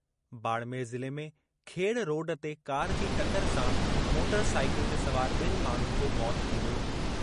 बाड़मेर ज़िले में खेड़ रोड ते कार जी टकर सां मोटरसाइकिल ते सवार बि॒नि माण्हुनि जो मौतु थी वियो।